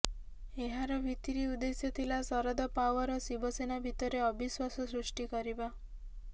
ଏହାର ଭିତିରି ଉଦ୍ଦେଶ୍ୟ ଥିଲା ଶରଦ ପାୱାର ଓ ଶିବସେନା ଭିତରେ ଅବିଶ୍ବାସ ସୃଷ୍ଟି କରିବା